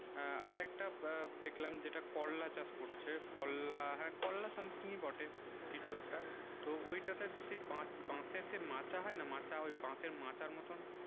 হেঁ আর কেটে দেখলাম যেটা করলা চাষ করছে করলা হেঁ something ই পটে কিছু একটা তো ঐইটা তে সেই বসে সে মাচা হয়ে মাচা হয়ে ওই বাসে মাচা মতুন